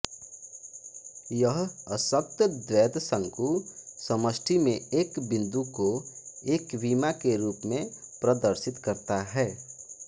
यह अशक्त द्वैतशंकु समष्टि में एक बिन्दु को एकविमा के रूप में प्रदर्शित करता है